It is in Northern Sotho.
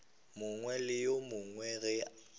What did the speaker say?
mongwe le yo mongwe ge